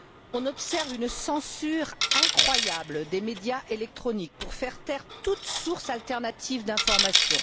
On observe une censure incroyable des médias électroniques pour faire taire toutes sources alternatives d'informations.